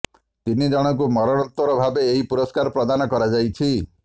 ତିନି ଜଣଙ୍କୁ ମରଣୋତ୍ତର ଭାବେ ଏହି ପୁରସ୍କାର ପ୍ରଦାନ କରାଯାଇଛି